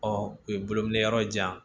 Ɔ u ye bolo minɛ yɔrɔ jan